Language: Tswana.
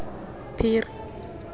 phiri